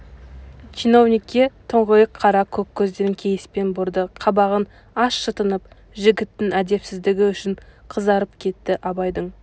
чиновникке тұңғиық қара көк көздерін кейіспен бұрды қабағын аз шытынып жігіттің әдепсіздігі үшін қызарып кетті абайдың